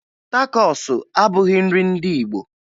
Takosu abụghị nrị ndị Igbo